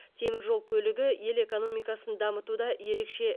темір жол көлігі ел экономикасын дамытуда ерекше